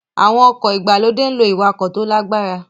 Àwọn ọkọ̀ ìgbàlódé ń lo ìwakò tó lágbára